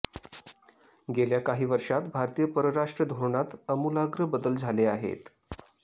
गेल्या काही वर्षात भारतीय परराष्ट्र धोरणात अमुलाग्र बदल झाले आहेत